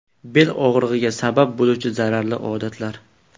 Bel og‘rig‘iga sabab bo‘luvchi zararli odatlar.